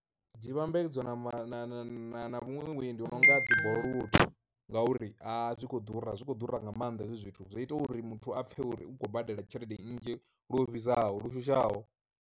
Dzi vhambedzwa na ma na na na muṅwe vhuendi vhu nonga dzi bolt, ngauri a zwi kho ḓura zwi kho ḓura nga maanḓa hezwi zwithu zwi ita uri muthu a pfhe uri u khou badela tshelede nnzhi lu vhidzaho lushushaho.